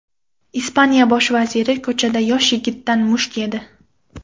Ispaniya bosh vaziri ko‘chada yosh yigitdan musht yedi .